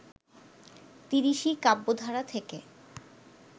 তিরিশি কাব্যধারা থেকে